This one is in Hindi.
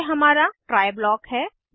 यह हमारा ट्राय ब्लॉक है